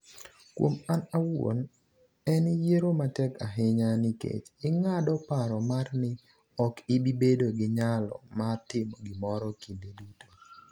Kuom an awuon en yiero matek ahinya nikech ing'ado paro mar ni ok ibi bedo gi nyalo mar timo gimoro kinde duto.